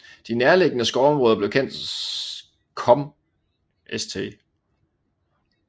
De nærliggende skovområder blev kendt kom St